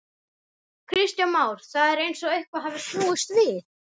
Kristján Már: Það er eins og eitthvað hafi snúist við?